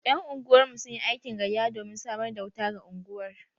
Yan unguwar mu sunyi aikin gayya domin samar da wuta ga unguwar.